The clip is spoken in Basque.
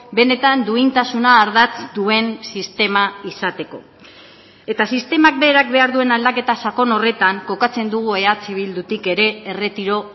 benetan duintasuna ardatz duen sistema izateko eta sistemak berak behar duen aldaketa sakon horretan kokatzen dugu eh bildutik ere erretiro